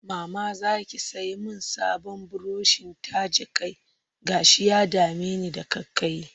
Mama za ki sai min sabon burushin taje kai? Gashina ya dame ni da ƙaiƙayi